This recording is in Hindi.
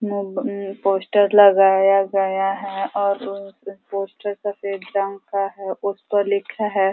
पोस्टर लगाया गया है और पोस्टर सफेद रंग का है। उस पर लिखा है--